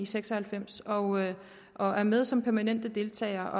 seks og halvfems og og er med som permanente deltagere